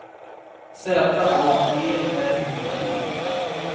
Z A G R E B